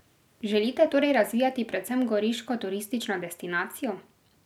Želite torej razvijati predvsem goriško turistično destinacijo?